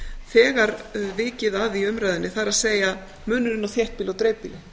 þegar vikið að í umræðunni það er munurinn á þéttbýli og dreifbýli